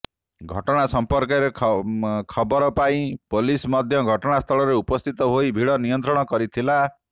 ଘଟଣା ସମ୍ପର୍କରେ ଖବର ପାଇଁ ପୋଲିସ ମଧ୍ୟ ଘଟଣାସ୍ଥଳରେ ଉପସ୍ଥିତ ହୋଇ ଭିଡ଼ ନିୟନ୍ତ୍ରଣ କରିଥିଲା